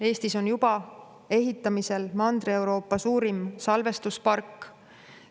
Eestis on juba ehitamisel Mandri-Euroopa suurim salvestuspark.